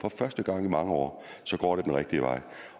for første gang i mange år går det den rigtige vej